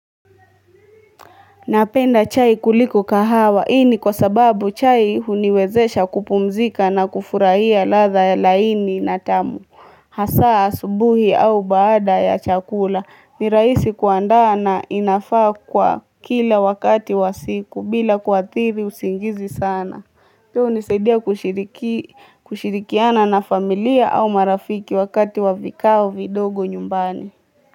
Napenda chai kuliko kahawa hii ni kwa sababu chai huniwezesha kupumzika na kufurahia ladha ya laini na tamu. Hasa asubuhi au baada ya chakula ni rahisi kuandaa na inafaa kwa kila wakati wa siku bila kuathiri usingizi sana. Pia hunisaidia kushirikiana na familia au marafiki wakati wa vikao vidogo nyumbani.